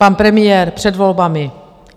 pan premiér před volbami.